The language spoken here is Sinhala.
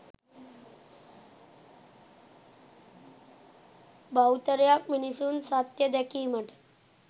බහුතරයක් මිනිසුන් සත්‍ය දැකීමට